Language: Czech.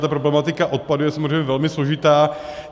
Ta problematika odpadů je samozřejmě velmi složitá.